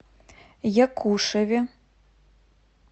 якушеве